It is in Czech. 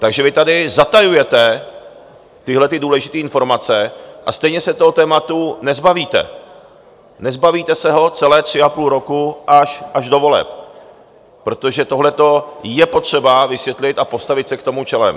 Takže vy tady zatajujete tyhle důležité informace, a stejně se toho tématu nezbavíte, nezbavíte se ho celé tři a půl roku až do voleb, protože tohle je potřeba vysvětlit a postavit se k tomu čelem.